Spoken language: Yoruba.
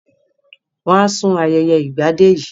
Wọ́n á sùn ayẹyẹ Ìgbadé yìí